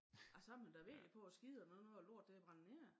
Ej så man da virkelig på æ skider når nu æ lort det brændt ned